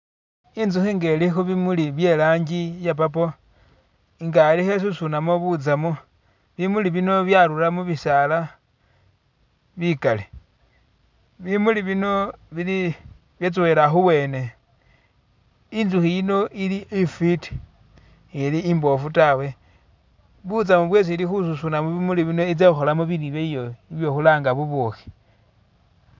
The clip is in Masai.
Inzukhi inga ili khubimuli bye langi iye purple nga khelikho isusunamo butsamo bimuli bino byarula mubisaala bikali bimuli bino bili byetsowela khuwene inzukhi yino ili ifiti seli imboofu tawe butsamu bwesi ili khususna mubimuli bino itsa khukholamo bilyo byayo byekhulanga bubukhi.